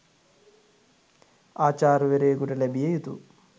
ආචාර්යවරයෙකුට ලැබිය යුතු